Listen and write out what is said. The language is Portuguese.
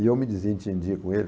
E eu me desentendia com ele.